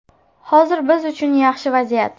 Hozir biz uchun yaxshi vaziyat.